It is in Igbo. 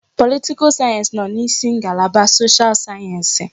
Politikal sayensị nọ n'isi ngalaba soshal sayensị.